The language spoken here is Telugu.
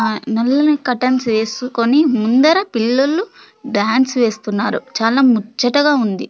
నల్లని కర్టెన్స్ వేసుకొని ముందర పిల్లొల్లు డాన్స్ వేస్తున్నారు చాలా ముచ్చటగా ఉంది.